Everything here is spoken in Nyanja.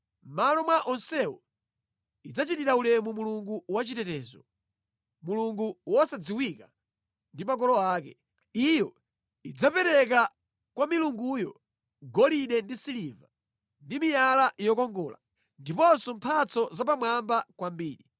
Mʼmalo mwa onsewo, idzachitira ulemu mulungu wachitetezo; mulungu wosadziwika ndi makolo ake. Iyo idzapereka kwa mulunguyo golide ndi siliva, ndi miyala yokongola, ndiponso mphatso za pamwamba kwambiri.